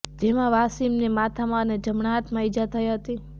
જેમાં વાસીમને માથામાં અને જમણા હાથમાં ઈજા થઈ હતી